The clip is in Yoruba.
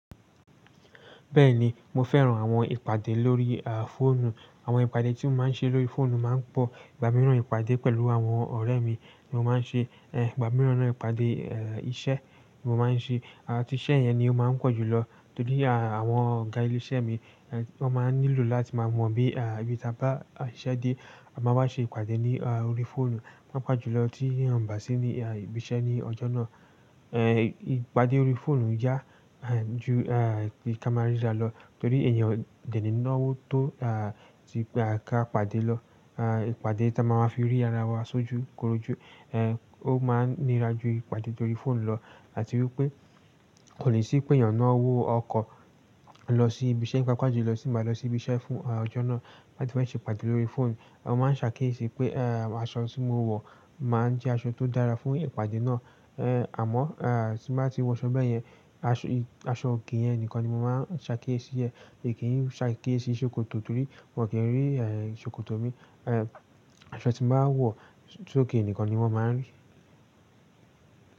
Bẹ́ẹ̀ni, mo fẹ́ran àwọn ìpàdé lórí a, fóònù. Àwọn ìpàdé tí mo máa ń ṣe lórí fóònù máa ń pọ̀. Ìgbà mìíràn ìpàdé pẹ̀lú àwọn ọ̀rẹ́ mi ni mo máa ń ṣe, eh, ìgbà mìíràn náà ìpàdé, ẹ, iṣẹ́ ni mo máa ń ṣe. A, tí iṣẹ́ yẹn ni ó máa ń pọ̀ jù lọ torí àwọn ọ̀gá ìlé iṣẹ́ mi wọ́n máa n nílò láti máa mọ̀ bí ibí tà bá iṣẹ́ dé a máa wá ṣe ìpàdé ní orí fóònù. Paapaá jù lọ tí won baà sí ní, a, ibi iṣẹ́ ní ọjọ́ náà. E, ìpàdé orí fóònù yá, ẹ, ju, ẹ, bí i ká máa rí rà lọ torí èèyàn ò jẹ̀ ní iná owó tó, a, ti pé a ká pàdé lọ. A, ìpàdé tá a máa ma fi rí ara wa ṣójú korojú, ẹ, ó máa ń nira ju ìpàdé tórí fóònù lọ. Áti wípé kò ní sí pé èèyàn náà ó wọ ọkọ̀ lọ sí ibi iṣẹ́ paapaa jùló, tii n ba lọ sí ibi iṣẹ́ fún, a, ọjọ́ náà. Áti fẹ́ ṣe ìpàdé lórí fóònù. Won máa n se akiyesi pe aṣọ ti mo wo máa n je aṣọ to dára fún ìpàdé náà. Ehn, àmọ́, ẹ, tí bá ti wọ aṣọ bẹ́ẹ̀ yẹn, aṣọ, aṣọ òké yẹn nìkan ni mo máa ń ṣàkíyèsí ẹ. Mií kì n ṣàkíyèsí ṣòkòtò torí wọ́n ò kí ń rí, ẹ, ṣòkòtò mi. Ehn, aṣọ tí n bá wọ̀ sókè nìkan ni wọ́n máa ń ri.